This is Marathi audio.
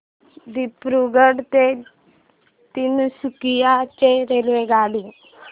दिब्रुगढ ते तिनसुकिया ची रेल्वेगाडी